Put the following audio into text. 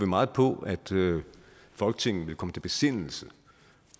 meget på at folketinget vil komme til besindelse